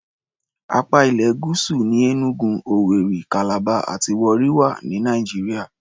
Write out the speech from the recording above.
Apá ilẹ̀ Gúúsù ní Enugu, Owerri, Calabar àti Warri wà ní Nàìjíríà.